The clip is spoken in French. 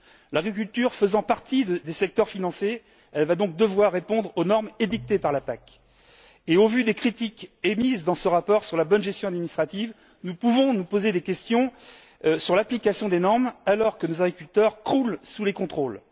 L'agriculture faisant partie des secteurs financés, elle va donc devoir répondre aux normes édictées par la PAC. Au vu des critiques émises dans ce rapport sur la bonne gestion administrative, nous pouvons nous poser des questions sur l'application des normes alors que nos agriculteurs croulent sous les contrôles.